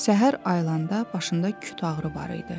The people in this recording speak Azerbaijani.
Səhər ayilanda başında küt ağrı var idi.